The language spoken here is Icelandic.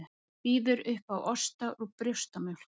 Býður upp á osta úr brjóstamjólk